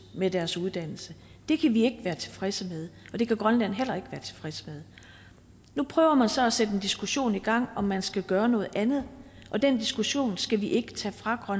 med deres uddannelse det kan vi ikke være tilfredse med det kan grønland heller ikke være tilfreds med nu prøver man så at sætte en diskussion i gang om man skal gøre noget andet og den diskussion skal vi ikke tage fra